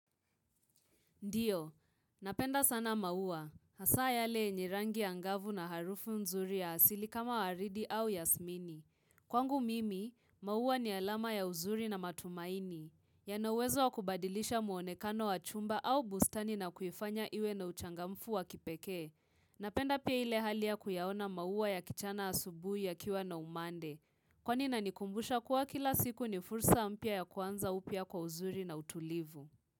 Ndio, napenda sana maua. Hasaa yale yenye rangi angavu na harufu mzuri ya asili kama waridi au yasmini. Kwangu mimi, maua ni alama ya uzuri na matumaini. Yana uwezo wa kubadilisha muonekano wa chumba au bustani na kuifanya iwe na uchangamfu wa kipekee. Napenda pia ile hali ya kuyaona mauwa ya kichana asubuhi yakiwa na umande. Kwani inanikumbusha kuwa kila siku ni fursa mpya ya kuanza upya kwa uzuri na utulivu.